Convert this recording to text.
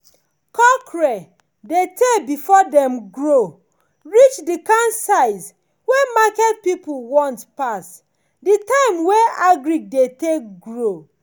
cockerel dey tay before dem grow reach the kind size wey market people want pass the time wey agric dey take grow.